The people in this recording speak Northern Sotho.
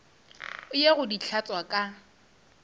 ye go di hlatswa ka